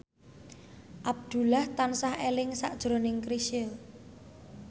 Abdullah tansah eling sakjroning Chrisye